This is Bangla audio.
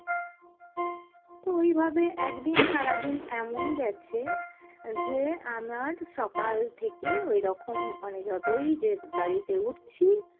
তো ওইভাবে একদিন সারাদিন এমন গেছে যে আমার সকাল থেকে ওইরকম মানে যতই যে গাড়িতে উঠছি